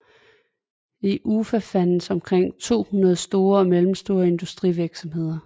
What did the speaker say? I Ufa findes omkring 200 store og mellemstore industrivirksomheder